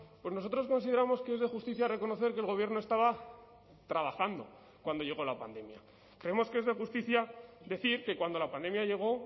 pues nosotros consideramos que es de justicia reconocer que el gobierno estaba trabajando cuando llegó la pandemia creemos que es de justicia decir que cuando la pandemia llegó